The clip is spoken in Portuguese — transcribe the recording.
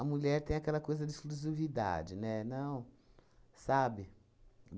mulher tem aquela coisa de exclusividade, né? Não. Sabe?